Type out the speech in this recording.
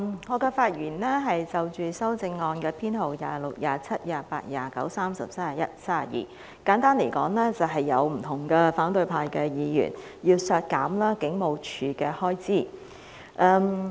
主席，我是就修正案編號26、27、28、29、30、31及32發言，簡單來說，有不同的反對派議員要求削減警務處的開支。